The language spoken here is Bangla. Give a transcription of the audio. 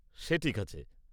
সে ঠিক আছে।